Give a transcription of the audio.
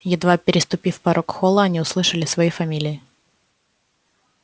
едва переступив порог холла они услышали свои фамилии